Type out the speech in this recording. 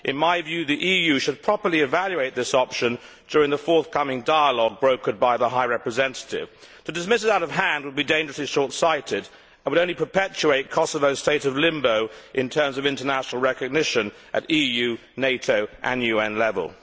In my view, the EU should properly evaluate this option during the forthcoming dialogue brokered by the High Representative. To dismiss it out of hand would be dangerously short sighted, and would only perpetuate Kosovo's state of limbo in terms of international recognition at EU, NATO and UN level.